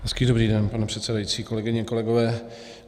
Hezký dobrý den, pane předsedající, kolegyně, kolegové.